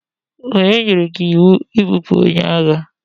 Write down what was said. Onye nyere gi iwu ibupu onye agha?